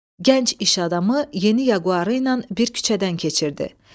Gənc iş adamı yeni Yaquarı ilə bir küçədən keçirdi.